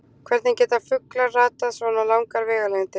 Hvernig geta fuglar ratað svona langar vegalengdir?